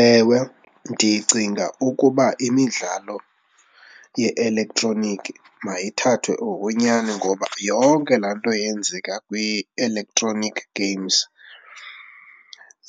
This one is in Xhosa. Ewe, ndicinga ukuba imidlalo ye-elektroniki mayithathwe ngokwenyani ngoba yonke laa nto yenzeka kwi-electronic games